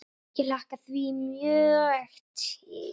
Ég hlakka því mjög til.